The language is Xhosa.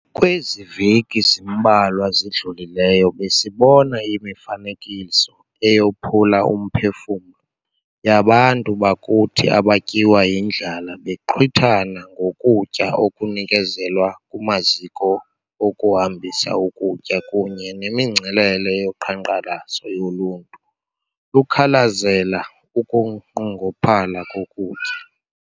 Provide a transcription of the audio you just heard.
Kwezi veki zimbalwa zidlulileyo besibone imifanekiso eyophula umphefumlo yabantu bakuthi abatyiwa yindlala bexhwithana ngokutya okunikezelwa kumaziko okuhambisa ukutya kunye nemingcelele yoqhankqalazo yoluntu lukhalazela ukunqongophala kokutya.